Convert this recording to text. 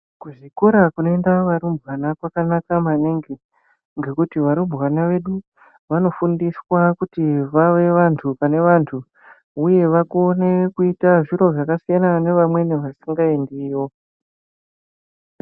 Kuzvikora kunoenda varumbwana kwakanaka maningi ngekuti varumbwana vedu vanofundiswa kuti vave vantu pane vantu uye vakone kuita zviro zvakasiyana nevamweni vasingaendiyo.